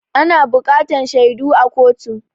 Ana buƙatan shaidu a kotu.